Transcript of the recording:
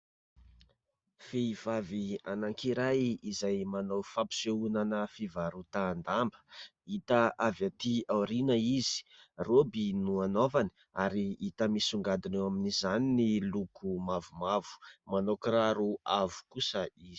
Vehivavy anankiray izay manao fampisehonana fivarotan-damba. Hita avy aty aoriana izy roby no anaovany ary hita misongadina eo amin'izany ny loko mavomavo manao kiraro avo kosa izy.